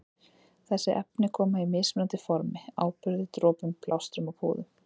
Þessi efni koma í mismunandi formi- áburði, dropum, plástrum og púðum.